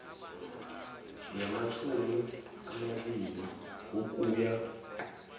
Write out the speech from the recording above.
yamatjhumi amabili ukuya